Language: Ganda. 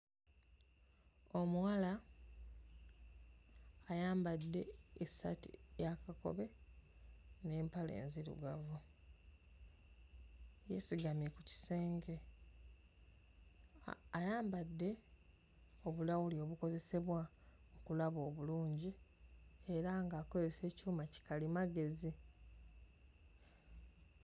Omuwala ayambadde essaati eya kakobe n'empale enzirugavu, yeesigamye ku kisenge. Ayambadde obulawuli obukozesebwa okulaba obulungi era ng'akozesa ekyuma kikalimagezi.